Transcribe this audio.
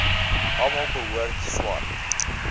almal behoort swart